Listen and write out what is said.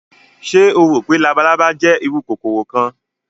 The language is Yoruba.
Ṣe o ro pe labalaba jẹ iru kokoro kan?